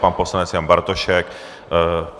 Pan poslanec Jan Bartošek.